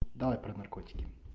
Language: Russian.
давай про наркотики